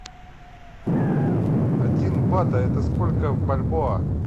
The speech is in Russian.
один бат это сколько в бальбоа